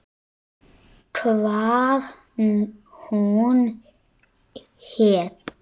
Hvað hún héti.